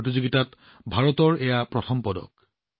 এই প্ৰতিযোগিতাত ভাৰতৰ এয়া প্ৰথম পদক